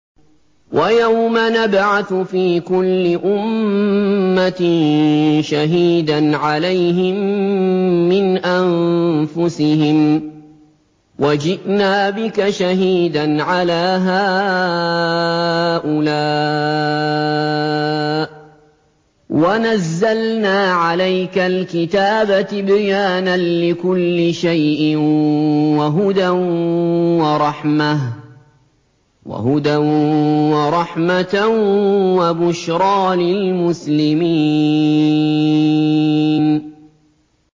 وَيَوْمَ نَبْعَثُ فِي كُلِّ أُمَّةٍ شَهِيدًا عَلَيْهِم مِّنْ أَنفُسِهِمْ ۖ وَجِئْنَا بِكَ شَهِيدًا عَلَىٰ هَٰؤُلَاءِ ۚ وَنَزَّلْنَا عَلَيْكَ الْكِتَابَ تِبْيَانًا لِّكُلِّ شَيْءٍ وَهُدًى وَرَحْمَةً وَبُشْرَىٰ لِلْمُسْلِمِينَ